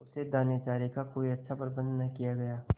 उसके दानेचारे का कोई अच्छा प्रबंध न किया गया